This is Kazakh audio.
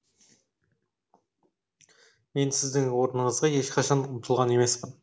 мен сіздің орныңызға ешқашан ұмтылған емеспін